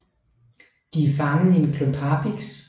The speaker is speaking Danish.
De er fanget i en klump harpiks